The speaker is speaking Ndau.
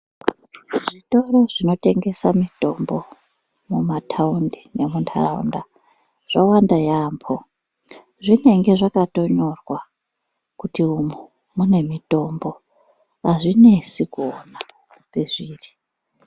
Zvitoro zvinotengesa mitombo mumatawundi nemuntaraunda zvowanda yambo, zvinenge zvakatonyorwa kuti umwo munemitombo, azvinesi kuwona pezviri.